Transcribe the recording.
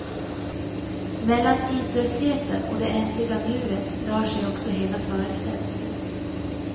Mellan tidlösheten och det ändliga nuet rör sig också hela föreställningen.